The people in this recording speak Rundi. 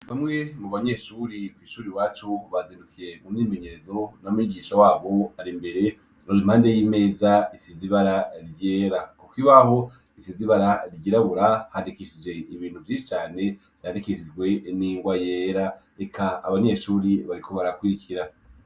Bamwe mu banyeshuri kw'ishuri wacubazindukiye mu mimenyerezo namwijisha wabo ari imbere nur impande y'imeza isizibara ryera, kuko ibaho isizibara ryirabura handikishije ibintu vyishicane vyandikishijwe eningwa yera eka abanyeshuri bariko barakwikira.